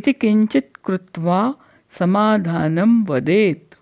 इति किञ्चित् कृत्वा समाधानं वदेत्